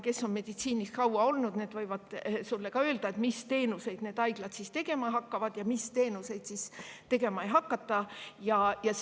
Kes on meditsiinis kaua olnud, need võivad sulle öelda, mis teenuseid haiglad hakkavad ja mis teenuseid ei hakka,.